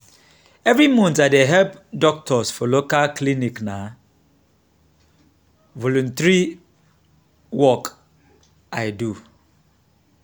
every month i dey help doctors for local clinic na voluntary work i do.